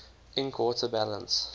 ink water balance